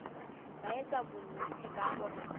ba etsa bonnete ba hore